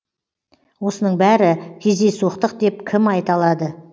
осының бәрі кездейсоқтық деп кім айта алады